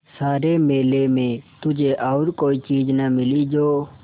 सारे मेले में तुझे और कोई चीज़ न मिली जो